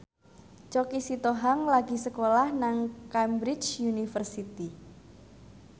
Choky Sitohang lagi sekolah nang Cambridge University